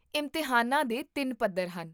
ਇਮਤਿਹਾਨਾਂ ਦੇ ਤਿੰਨ ਪੱਧਰ ਹਨ